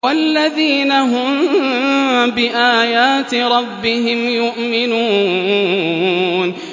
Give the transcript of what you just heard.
وَالَّذِينَ هُم بِآيَاتِ رَبِّهِمْ يُؤْمِنُونَ